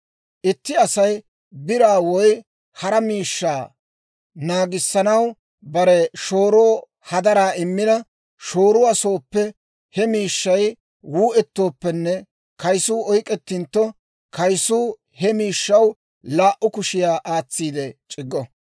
«Itti Asay biraa woy hara miishshaa naagissanaw bare shooroo hadaraa immina, shooruwaa sooppe he miishshay wuu"eettooppenne kaysuu oyk'k'etintto, kaysuu he miishshaw laa"u kushiyaa aatsiide c'iggo.